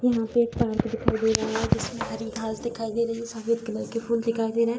यहाँ पे एक पार्क दिखाई दे रहा है जिसमें हरी घास दिखाई दे रही है | सफ़ेद कलर के फूल दिखाई दे रहे हैं |